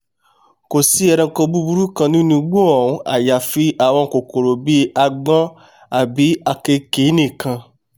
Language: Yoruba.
kò sí ẹranko búburú kankan nínú igbó ọ̀hún àyàfi àwọn kòkòrò bí agbọ́n àbí àkekèé nìkan